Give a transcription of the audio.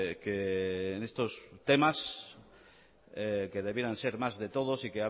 que en estos temas que debieran ser más de todos y